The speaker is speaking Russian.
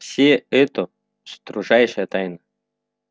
всс это строжайшая тайна